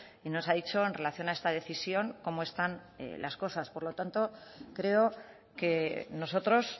y nos ha dicho en relación a esta decisión cómo están las cosas por lo tanto creo que nosotros